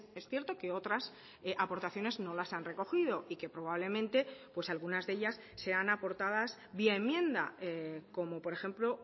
es cierto que otras aportaciones no las han recogido y que probablemente pues algunas de ellas sean aportadas vía enmienda como por ejemplo